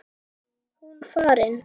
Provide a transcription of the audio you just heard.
Hún farin.